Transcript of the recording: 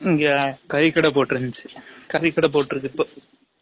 இங்க கரி கடை போட்டு இருந்த்துசு, கரி கடை போட்டு இருக்கு இப்ப